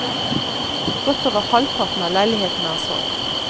Godt over halvparten av leilighetene er solgt.